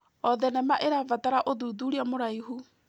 O thenema ĩrabatara ũthuthuria mũraihu.